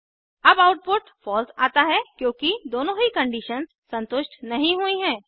अब output false आता है क्योंकि दोनों ही कंडीशंस संतुष्ट नहीं हुई हैं